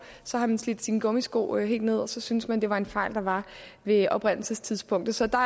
så har man slidt sine gummisko helt ned og så synes man det var en fejl der var ved oprindelsestidspunktet så der